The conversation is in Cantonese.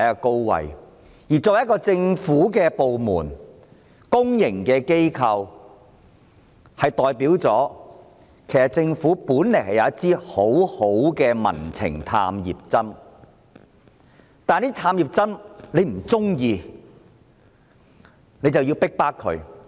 港台是一個政府部門，又是公營機構，這其實代表政府擁有一支很好的"民情探熱針"，但政府卻因為不喜歡這支探熱針而逼迫它。